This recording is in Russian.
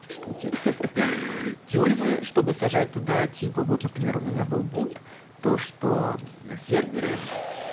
штуки ха-ха тюрьмы чтобы сажать туда типа вот например у меня был бунт то что фермеры